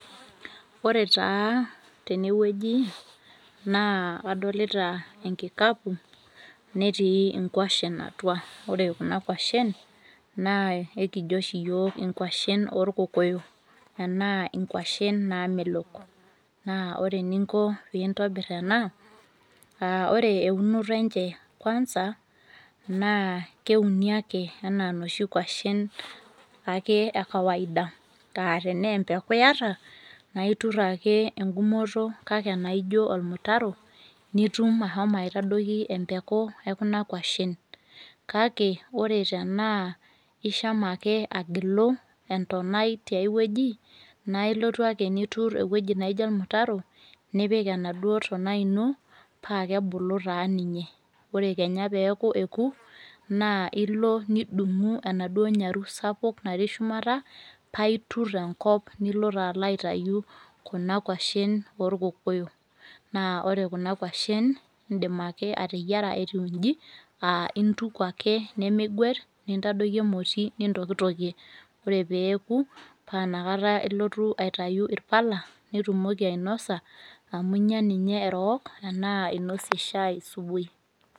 Ore taa tenewueji, naa adolita enkikapu, netii nkwashen atua. Ore kuna kwashen, naa ekijo oshi yiok inkwashen orkokoyo. Enaa inkwashen namelok. Naa ore eninko pintobir ena, ore eunoto enche kwansa, naa keuni ake enaa noshi kwashen ake ekawaida. Ah tenaa empeku yata, naa itur ake egumoto kake enaijo ormutaro, nitum ashomo aitadoki empeku ekuna kwashen. Kake, ore tenaa ishama ake agilu entonai tiai wueji, na ilotu ake nitur ewoi naijo ormutaro, nipik enaduo tonai ino, paa kebulu taa ninye. Ore kenya peeku eku, naa ilo nidung'u enaduo nyaru sapuk natii shumata, aitur enkop nilo taa aitayu kuna kwashen orkokoyo. Naa ore kuna kwashen, idim ake ateyiara etiu iji, ah ituku ake nimiguet, nintadoki emoti nintokitokie. Ore peeku, pa inakata ilotu aitayu irpala, nitumoki ainosa, amu inya ninye erook, enaa inosie shai subui.